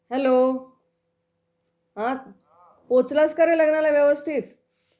Hello हा, पोचलास का रे लग्नाला व्यवस्थित?